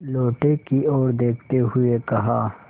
लोटे की ओर देखते हुए कहा